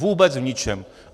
Vůbec v ničem!